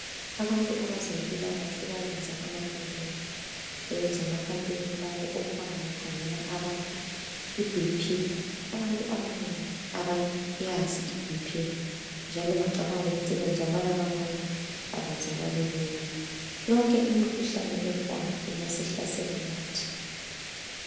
Abantu abezempilakahle bayenza ama campaign .Beyenza ama campaign lawo okuhamba bekhangela abantu iBP.Abantu abanengi abayazi iBP njalo bacabanga ukuthi okwenzakala kwabanye ,akwenzakali kubo. Yonke imikhuhlane ekhona ingasihlasela lathi.